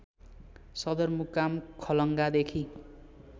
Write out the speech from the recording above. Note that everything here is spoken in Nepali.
सदरमुकाम खलङ्गादेखि